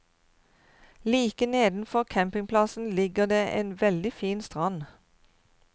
Like nedenfor campingplassen ligger det en veldig fin strand.